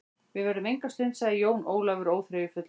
Við verðum enga stund, sagði Jón Ólafur óþreyjufullur.